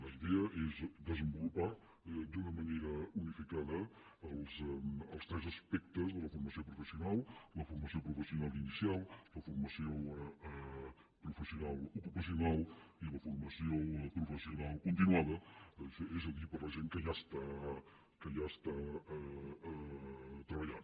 la idea és desenvolupar d’una manera unificada els tres aspectes de la formació professional la formació professional inicial la formació professional ocupacional i la formació professional continuada és a dir per a la gent que ja està treballant